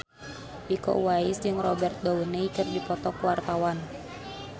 Iko Uwais jeung Robert Downey keur dipoto ku wartawan